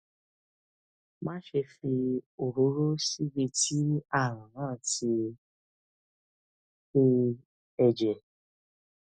máṣe fi òróró síbi tí ààrùn náà ti ṣe ẹ̀jẹ̀